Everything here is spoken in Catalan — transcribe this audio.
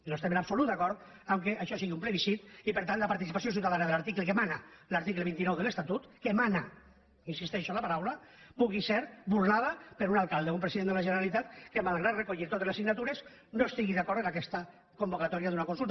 no estem en absolut d’acord que això sigui un plebiscit i per tant la participació ciutadana que mana l’article vint nou de l’estatut que mana insisteixo en la paraula pugui ser burlada per un alcalde o un president de la generalitat que malgrat recollir totes les signatures no estigui d’acord amb aquesta convocatòria d’una consulta